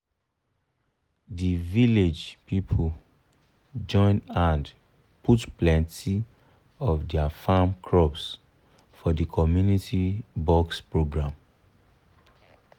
the village people join hand put plenty of their farm crops for the community box program.